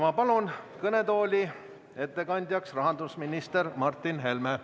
Ma palun kõnetooli ettekandjaks rahandusminister Martin Helme.